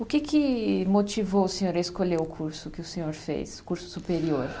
O que que motivou o senhor a escolher o curso que o senhor fez, curso superior?